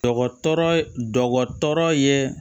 Dɔgɔtɔrɔ dɔgɔtɔrɔ ye